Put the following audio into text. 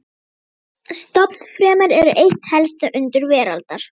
Stofnfrumur eru eitt helsta undur veraldar.